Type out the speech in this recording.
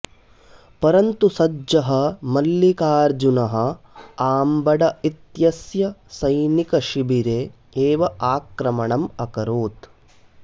परन्तु सज्जः मल्लिकार्जुनः आम्बड इत्यस्य सैनिकशिबिरे एव आक्रमणम् अकरोत्